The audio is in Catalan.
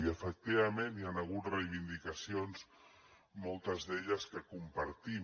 i efectivament hi han hagut reivindicacions moltes d’elles que compartim